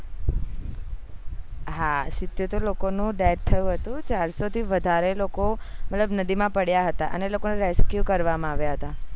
હા સીત્યોતેર લોકો નું death થયું હતું ચારસો થી વધારે લોકો મતલબ નદી માં પડ્યા હતા અને લોકો ને rescue કરવામાં આવ્યા હતા